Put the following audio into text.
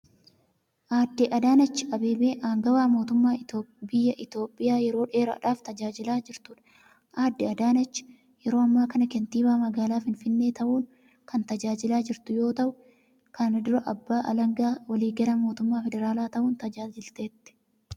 Aaddee Adaanach Abeebee, aangawa mootummaa biyyaa Itoophiyaa yeroo dheeraadhaaf tajaajilaa jirtuu dha. Aaddee Adaanach yeroo ammaa kana kantiibaa magaalaa finfinnee ta'uun kan tajaajilaa jirtu yoo ta'u, kana dura abbaa alangaa waliigalaa mootummaa federaalaa ta'uun tajaajilteetti.